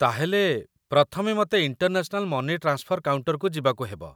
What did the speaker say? ତା'ହେଲେ, ପ୍ରଥମେ ମତେ ଇଣ୍ଟରନ୍ୟାସନାଲ ମନି ଟ୍ରାନ୍ସଫର କାଉଣ୍ଟର୍‌କୁ ଯିବାକୁ ହେବ ?